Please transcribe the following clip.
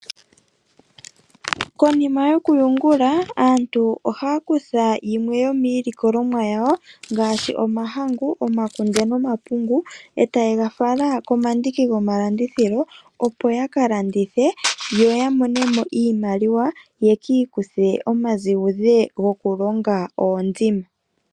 Konima yokuyungula aantu ohaya kutha yimwe yomiilikolomwa yawo ngaashi omahangu, omakunde, omapungu e taye ga fala komandiki gomalandithilo, opo ya kalandithe yo yamone mo iimaliwa ye ki ikuthe omazigudhe gokulonga oondima.